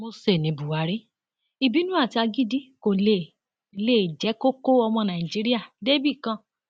mósè ní buhari ìbínú àti agídí kó lè lè jẹ kó kọ ọmọ nàìjíríà débì kan